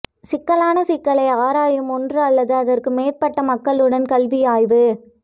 சிக்கலான சிக்கலை ஆராயும் ஒன்று அல்லது அதற்கு மேற்பட்ட மக்களுடன் கல்வி ஆய்வு